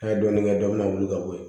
N'a ye dɔɔnin kɛ dɔ bɛ na wuli ka bɔ yen